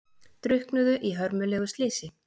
Drukknuðu í hörmulegu slysi